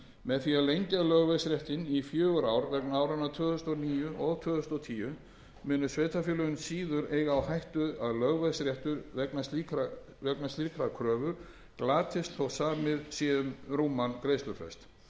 með því að lengja lögveðsréttinn í fjögur ár vegna áranna tvö þúsund og níu og tvö þúsund og tíu munu sveitarfélögin síður eiga á hættu að lögveðsréttur vegna slíkrar kröfu glatist þótt samið sé um rúman greiðslufrest